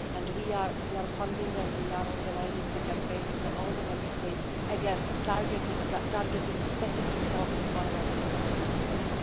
We are funding and we are organising the campaign in all the Member States, again targeting specific forms of violence in the Member States.